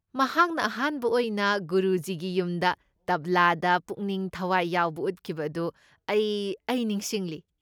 ꯃꯍꯥꯛꯅ ꯑꯍꯥꯟꯕ ꯑꯣꯏꯅ ꯒꯨꯔꯨꯖꯤꯒꯤ ꯌꯨꯝꯗ ꯇꯕ꯭ꯂꯥꯗ ꯄꯨꯛꯅꯤꯡ ꯊꯋꯥꯏ ꯌꯥꯎꯕ ꯎꯠꯈꯤꯕ ꯑꯗꯨ ꯑꯩ ꯑꯩ ꯅꯤꯡꯁꯤꯡꯂꯤ꯫